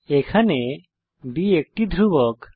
এখানে b একটি ধ্রুবক